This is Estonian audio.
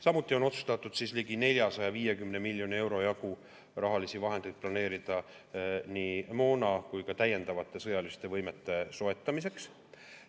Samuti on otsustatud ligi 450 miljoni euro jagu rahalisi vahendeid planeerida nii moona kui ka täiendavate sõjaliste võimete soetamiseks.